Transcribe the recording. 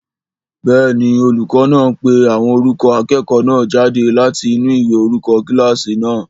Bẹ́ẹ̀ni, olùkọ́ náà ń pe orúkọ àwọn akẹ́kọ̀ọ́ náà jáde láti inú ìwé orúkọ kílásì náà